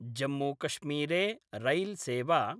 जम्मूकश्मीरे रैल्सेवा